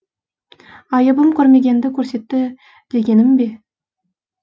айыбым көрмегенді көрсетті дегенім бе